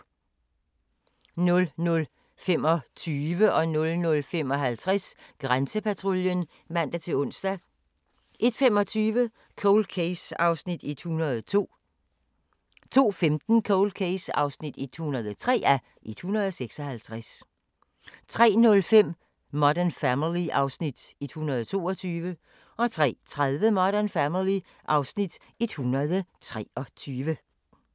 00:25: Grænsepatruljen (man-ons) 00:55: Grænsepatruljen (man-ons) 01:25: Cold Case (102:156) 02:15: Cold Case (103:156) 03:05: Modern Family (Afs. 122) 03:30: Modern Family (Afs. 123)